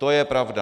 To je pravda.